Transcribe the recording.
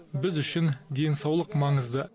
біз үшін денсаулық маңызды